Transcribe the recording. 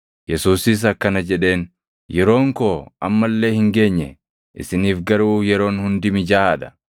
Yesuusis akkana jedheen; “Yeroon koo amma illee hin geenye; isiniif garuu yeroon hundi mijaaʼaa dha.